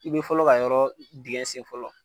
I bɛ fɔlɔ ka yɔrɔ dingɛ sen fɔlɔ.